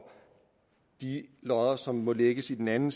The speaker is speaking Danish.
de lodder som må lægges i den anden